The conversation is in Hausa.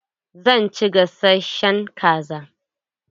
Zan ci gasashen kaza.